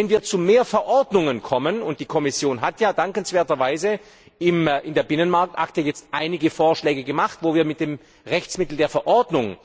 Wenn wir zu mehr Verordnungen kommen und die Kommission hat ja dankenswerterweise in der Binnenmarktakte einige Vorschläge gemacht, wo wir mit dem Rechtsmittel der Verordnung